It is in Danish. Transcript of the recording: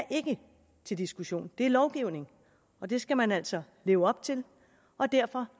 til diskussion det er lovgivning og det skal man altså leve op til og derfor